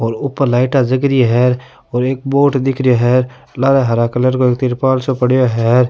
और ऊपर लाइटा जल री है और एक बोर्ड सो दिख रो है हरा हरा कलर को तिरपाल सो पड़यो है।